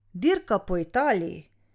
Dirka po Italiji.